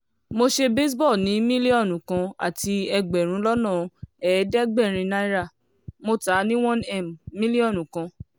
mo ṣe baseball ní mílíọ̀nù kan àti ẹgbẹ̀rún lọ́nà ẹ̀ẹ́dẹ́gbẹ̀rin náírà mo tà ní one m mílíọ̀nù kan